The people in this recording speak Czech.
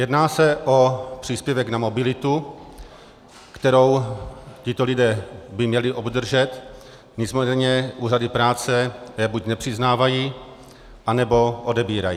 Jedná se o příspěvek na mobilitu, který tito lidé by měli obdržet, nicméně úřady práce ho buď nepřiznávají, anebo odebírají.